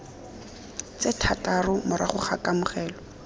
tse thataro morago ga kamogelo